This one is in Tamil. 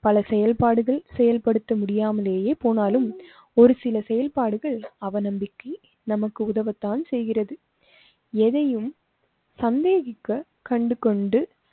பல செயல்பாடுகள் செயல்படுத்த முடியாமலேயே போனாலும், ஒரு சில செயல்பாடுகள் அவநம்பிக்கை நமக்கு உதவத்தான் செய்கிறது. எதையும் சந்தேகிக்க கண்டு கொண்டு